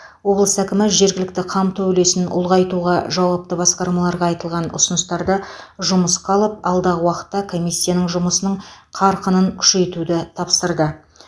облыс әкімі жергілікті қамту үлесін ұлғайтуға жауапты басқармаларға айтылған ұсыныстарды жұмысқа алып алдағы уақытта комиссияның жұмысының қарқынын күшейтуді тапсырды